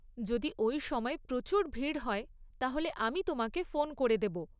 যদি ওই সময় প্রচুর ভিড় হয় তাহলে আমি তোমাকে ফোন করে দেব।